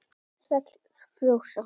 Svell frjósa.